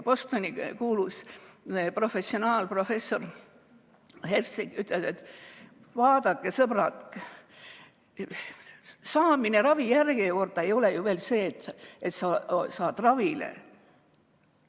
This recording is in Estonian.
Bostoni kuulus professor Herzlinger ütleb, et vaadake, sõbrad, saamine ravijärjekorda ei ole ju veel see, et sa saad ravile.